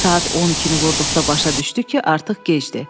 Saat 12-ni vurduqda başa düşdü ki, artıq gecdir.